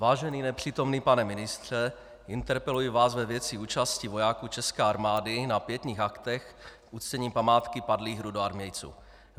Vážený nepřítomný pane ministře, interpeluji vás ve věci účasti vojáků české armády na pietních aktech k uctění památky padlých rudoarmějců.